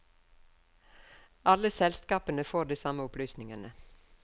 Alle selskapene får de samme opplysningene.